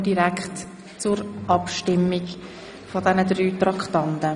Somit kommen wir direkt zur Abstimmung über die drei Traktanden.